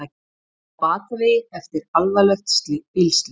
Á batavegi eftir alvarlegt bílslys